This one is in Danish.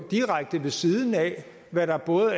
direkte ved siden af hvad der